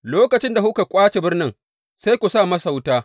Lokacin da kuka ƙwace birnin, sai ku sa masa wuta.